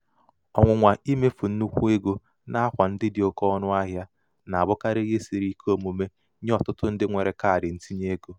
ọnwụnwa imefu nnukwu um ego n'akwa um ndị dị oke ọnụahịa na-abụkarị um ihe siri ike omume nye ọtụtụ ndị nwere kaadị ntinyeego.